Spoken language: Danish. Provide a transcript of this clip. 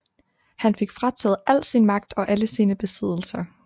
Han fik frataget al sin magt og alle sine besiddelser